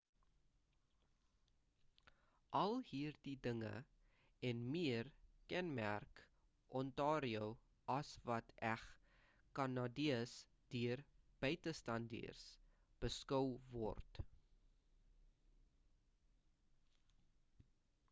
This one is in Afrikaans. al hierdie dinge en meer kenmerk ontario as wat eg kanadees deur buitestaanders beskou word